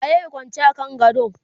waye Kwance a kan gado?